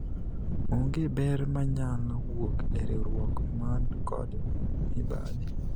onge ber manyalo wuok e riwruok man kod mibadhi